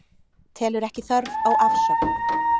Telur ekki þörf á afsögn